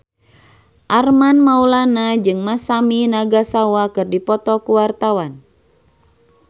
Armand Maulana jeung Masami Nagasawa keur dipoto ku wartawan